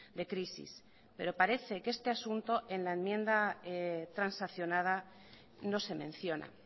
de crisis pero parece que este asunto en la enmienda transaccionada no se menciona